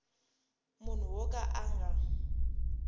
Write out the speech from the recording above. munhu wo ka a nga